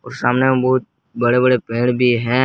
और सामने में बहुत बड़े बड़े पेड़ भी हैं।